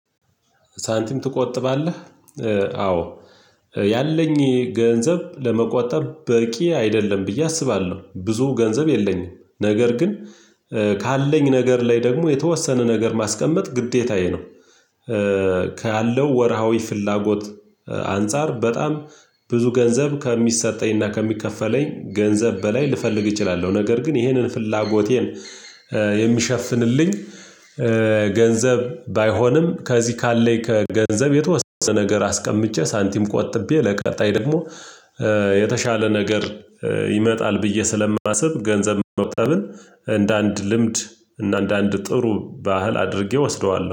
ሳንቲም ትቆጥባለህ? አዎ ያለኝ ገንዘብ ለመቆጠብ በቂ አይደለም ብዬ አስባለሁ ብዙ ገንዘብ የለኝም ነገር ግን ካለኝ ነገር ላይ ደግሞ የተወሰነ ነገር ማስቀመጥ ግዴታዬ ነው። ካለው ወርሃዊ ፍላጎት አንፃር በጣም ብዙ ገንዘብ ከሚሰጠኝና ከሚከፈለኝ ገንዘብ በላይ ልፈልግ እችላለሁ ነገር ግን ይህንን ፍላጎቴን የሚሸፍንልኝ ገንዘብ ባይሆንም ከዚህ ካለኝ ከገንዘብ የተወሰነ ነገር አስቀምጬ ሳንቲም ቆጥቤ ለቀጣይ ደግሞ የተሻለ ነገር ይመጣል ብዬ ስለማስብ ገንዘብ መቆጠብን እንደ አንድ ልምድ እና እንደ አንድ ጥሩ ባህል አድርጌ እወስደዋለሁ